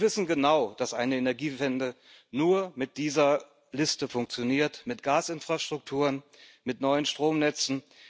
Sie wissen genau, dass eine Energiewende nur mit dieser Liste funktioniert, mit Gasinfrastrukturen, mit neuen Stromnetzen.